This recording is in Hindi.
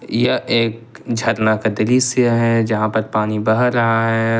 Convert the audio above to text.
यह एक झरना का दृश्य है जहां पर पानी बह रहा है।